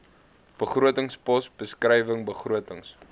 begrotingspos beskrywing begrotings